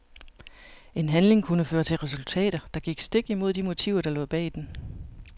En handling kunne føre til resultater, der gik stik imod de motiver der lå bag den.